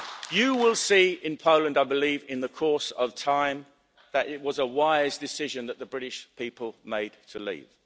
law. You will see in Poland, I believe, in the course of time that it was a wise decision that the British people made to leave.